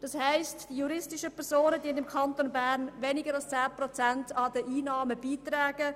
Das heisst, dass die juristischen Personen im Kanton Bern weniger als 10 Prozent zu den Einnahmen beitragen.